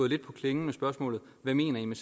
lidt på klingen med spørgsmålet hvad mener i med